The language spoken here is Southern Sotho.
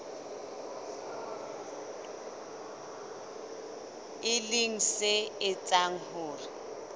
e leng se etsang hore